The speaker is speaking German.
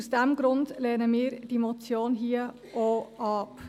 Aus diesem Grund lehnen wir diese Motion auch ab.